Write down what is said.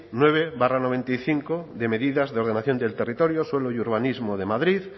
nueve barra noventa y cinco de medidas de ordenación del territorio suelo y urbanismo de madrid